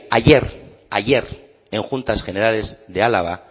ayer en juntas generales de álava